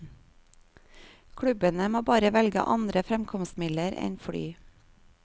Klubbene må bare velge andre fremkomstmidler enn fly.